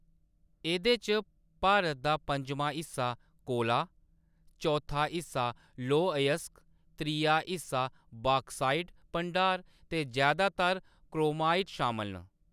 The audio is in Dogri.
एह्‌‌‌दे च भारत दा पं'जमां हिस्सा, कोला, चौथा हिस्सा लौह अयस्क, त्रिया हिस्सा बाक्साइट भंडार ते जैदातर क्रोमाइट शामल न।